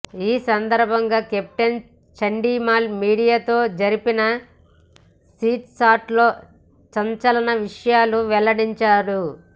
ఈ సందర్భంగా కెప్టెన్ చండీమాల్ మీడియాతో జరిపిన చిట్ చాట్లో సంచలన విషయాలు వెల్లడించాడు